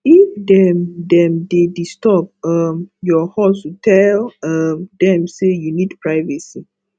if dem dem dey disturb um your hustle tell um dem sey you need privacy